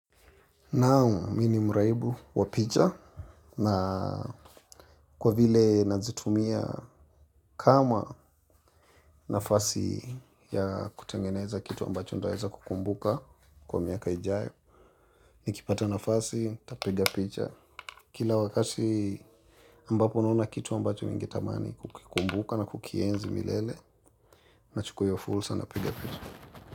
Naam, mimi ni mraibu wa picha na kwa vile nazitumia kama nafasi ya kutengeneza kitu ambacho nitaweza kukumbuka kwa miaka ijayo. Nikipata nafasi, nitapiga picha. Kila wakati ambapo naona kitu ambacho ningetamani kukikumbuka na kukienzi milele nachukua hiyo fursa napiga picha.